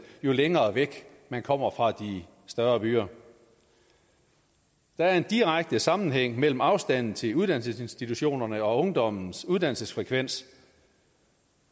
jo længere væk man kommer fra de større byer der er en direkte sammenhæng mellem afstanden til uddannelsesinstitutionerne og ungdommens uddannelsesfrekvens